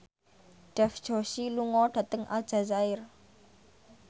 Dev Joshi lunga dhateng Aljazair